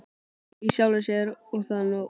í sjálfri sér- og það góða.